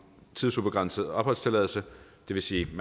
tidsubegrænset opholdstilladelse det vil sige at